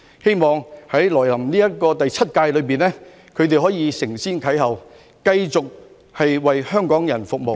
希望在來臨的第七屆，他們可以承先啟後，繼續為香港人服務。